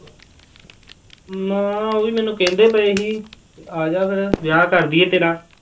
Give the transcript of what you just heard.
ਹਾਂ ਉਹ ਵੀ ਮੈਨੂੰ ਕਹਿੰਦੇ ਪਏ ਸੀ, ਆ ਜਾ ਫਿਰ, ਵਿਆਹ ਕਰ ਦੇਈਏ ਤੇਰਾ।